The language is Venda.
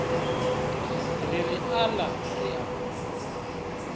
ri ri aḽa ri al